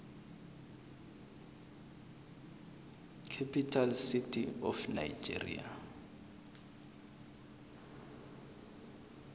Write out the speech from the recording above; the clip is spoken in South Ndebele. capital city of nigeria